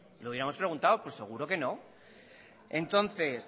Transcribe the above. le hubiéramos preguntado pues seguro que no entonces